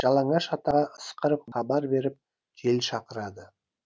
жалаңаш атаға ысқырып хабар беріп жел шақырады